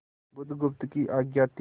बुधगुप्त की आज्ञा थी